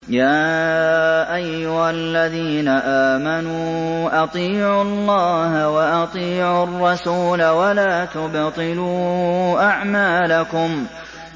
۞ يَا أَيُّهَا الَّذِينَ آمَنُوا أَطِيعُوا اللَّهَ وَأَطِيعُوا الرَّسُولَ وَلَا تُبْطِلُوا أَعْمَالَكُمْ